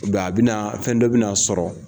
a be na fɛn dɔ be n'a sɔrɔ